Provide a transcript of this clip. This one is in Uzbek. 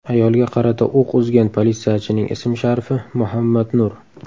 Ayolga qarata o‘q uzgan politsiyachining ismi-sharifi Muhammad Nur.